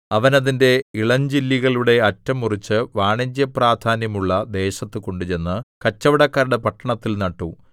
അവൻ അതിന്റെ ഇളഞ്ചില്ലികളുടെ അറ്റം മുറിച്ച് വാണിജ്യപ്രാധാന്യമുള്ള ദേശത്ത് കൊണ്ടുചെന്ന് കച്ചവടക്കാരുടെ പട്ടണത്തിൽ നട്ടു